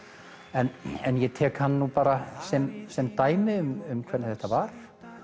en ég tek hann bara sem sem dæmi um hvernig þetta var